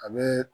A bɛ